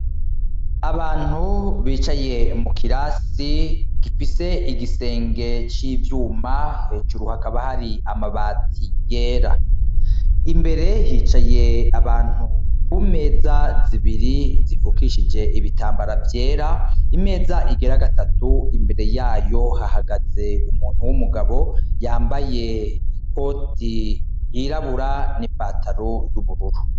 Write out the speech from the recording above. Abantu bicaye mukirasi gifise igisenge civyuma hejuru hakaba hari amabati yera imbere hicaye abantu kumeza zibiri zifukishije ibitambara vyera imeza igira gatatu imbere yayo hahagaze umuntu wumugabo yambaye ikoti yirabura nipataro ryubururu